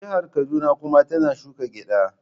Jihar Kaduna kuma tana shuka gyada.